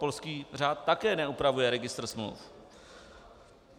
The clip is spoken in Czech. Polský řád také neupravuje registr smluv.